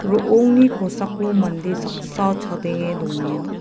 ro·ongni kosako mande saksa chadenge dongenga.